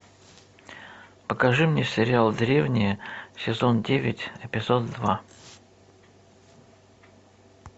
покажи мне сериал древние сезон девять эпизод два